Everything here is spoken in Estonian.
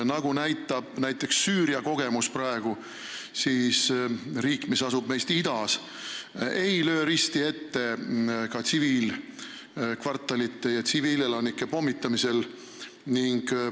Nagu näitab praegu Süüria kogemus, siis riik, mis asub meist idas, ei löö risti ette ka tsiviilkvartali ja tsiviilelanike pommitamisel.